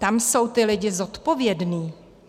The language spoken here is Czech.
Tam jsou ti lidi zodpovědní.